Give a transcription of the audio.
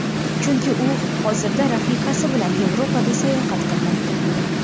Chunki u hozirda rafiqasi bilan Yevropada sayohat qilmoqda.